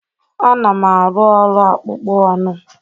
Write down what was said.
Ana m arụ ọrụ akpụkpọ anụ